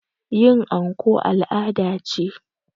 Yin anko al' ada ce